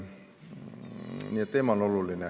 Nii et teema on oluline.